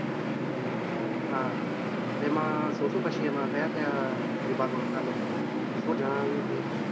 હા, તેમાં શું શું પછી તેમાં કયા કયા વિભાગો હતા ને શું જણાવ્યું કઈ.